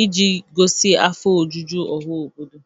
ị ji gosi afọ ojuju ọha obodo.